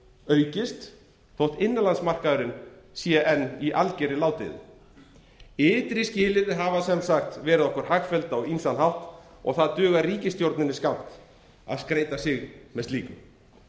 aukist þótt innanlandsmarkaðurinn sé enn í algjörri ládeyðu ytri skilyrði hafa sem sagt verið okkur hagfelld á ýmsan hátt og það dugar ríkisstjórninni skammt að skreyta sig með slíku